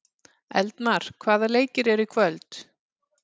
Eldmar, hvaða leikir eru í kvöld?